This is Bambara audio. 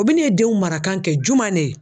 O bɛ ne denw mara kan kɛ juman de ye?